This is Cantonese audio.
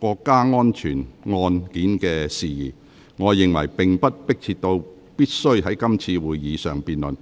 國家安全案件的事宜，我認為並不迫切至必須在今次會議上辯論。